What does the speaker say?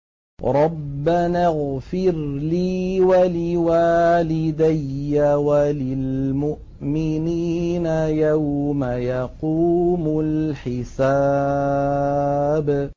رَبَّنَا اغْفِرْ لِي وَلِوَالِدَيَّ وَلِلْمُؤْمِنِينَ يَوْمَ يَقُومُ الْحِسَابُ